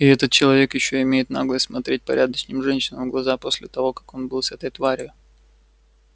и этот человек ещё имеет наглость смотреть порядочным женщинам в глаза после того как он был с этой тварью